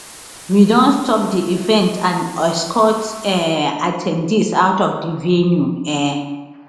we don stop di event and escort um at ten dees out of di venue um